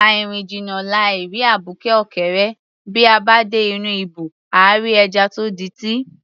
Àì rìn jìnnà, làì rí abuké ọ̀kẹ́rẹ́, bí a bá dé inú ibú, àá rí ẹja tó di’tí